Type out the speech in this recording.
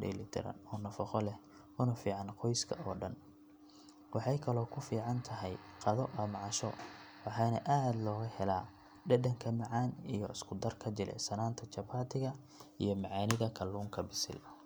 diiran ama suugo. Waa in la hubiyaa in digaagga uu si fiican u bislaaday si looga hortago dhibaato caafimaad. Waxaana muhiim ah in la cuno si edban oo nadiif ah iyadoo la adeegsado fargeeto ama gacmo la dhaqay. Digaagga waxaa laga helaa borotiin sare oo jirka dhisa tamarna siiya waxaana faa'iido weyn u leh carruurta, dadka weyn iyo xitaa waayeelka. Cunista digaagga waa xilli kasta mid ku habboon waxaana lagu raaxeystaa xafladaha, cashooyinka iyo munaasabado gaar ah taas oo ka dhigta cunto si weyn loo jecel yahay.